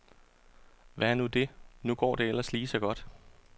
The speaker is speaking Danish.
Hvad er nu det, nu går det ellers lige så godt.